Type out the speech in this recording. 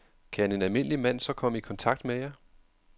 Kan en almindelig mand så komme i kontakt med jer?